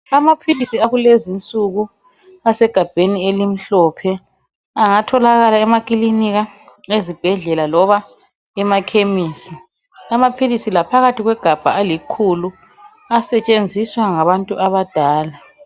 Amaphilisi akulenzi insuku asegabheni elimhlophe angatholakala emekilinika, ezibhedlela loba emakhemesi, amaphilisi la phakathi kwegabha alikhulu asetshenziswa ngabantu abadala